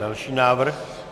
Další návrh.